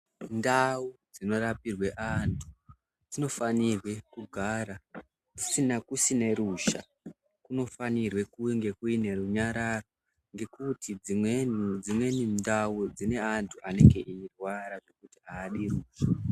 Ndau dzinorapirwe antu dzinofanirwe kugara kusine ruzha kunofanirwe kunge kuine runyararo mgekuti dzimweni ndau dzine antu anenge eirwara aadi ruzha.